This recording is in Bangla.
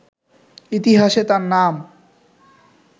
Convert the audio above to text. ইতিহাসে তার নাম